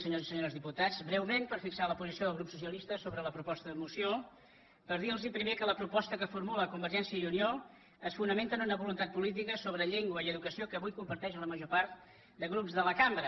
senyors i senyores diputats breument per fixar la posició del grup socialistes sobre la proposta de moció per dir·los primer que la propos·ta que formula convergència i unió es fonamenta en una voluntat política sobre llengua i educació que avui comparteix la major part de grups de la cambra